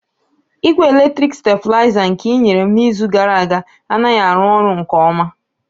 Igwe eletriki stabilizer nke i nyere m n'izu gara aga anaghị arụ ọrụ nke ọma